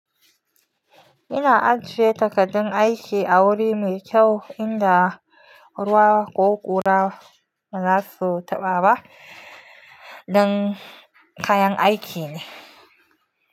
Ina ajiye takardun aiki a wuri mai kyau inda ruwa ko ƙura ba za su taɓa ba. Dan kayan aiki ne.